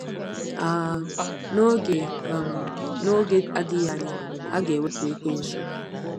um N’oge um N’oge na-adịghị anya, a ga-ewepụ Ekwensu.